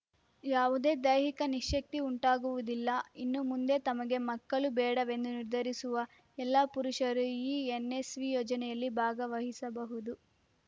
ಯಾವುದೇ ದೈಹಿಕ ನಿಶ್ಯಕ್ತಿ ಉಂಟಾಗುವುದಿಲ್ಲ ಇನ್ನು ಮುಂದೆ ತಮಗೆ ಮಕ್ಕಳು ಬೇಡವೆಂದು ನಿರ್ಧರಿಸುವ ಎಲ್ಲಾ ಪುರುಷರು ಈ ಎನ್‌ಎಸ್‌ವಿ ಯೋಜನೆಯಲ್ಲಿ ಭಾಗವಹಿಸಬಹುದು